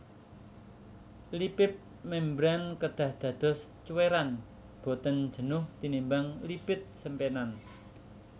Lipip mémbran kedah dados cuwèran boten jenuh tinimbang lipid simpenan